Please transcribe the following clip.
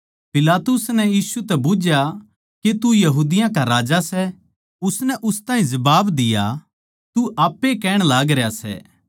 पिलातुस नै यीशु तै बुझ्झया के तू यहूदियाँ का राजा सै उसनै उस ताहीं जबाब दिया तू आप ए कहण लागरया सै